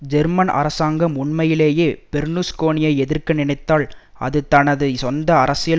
German அரசாங்கம் உண்மையிலேயே பெர்லுஸ்கோனியை எதிர்க்க நினைத்தால் அது தனது சொந்த அரசியல்